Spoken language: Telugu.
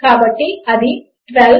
కాబట్టి అది 12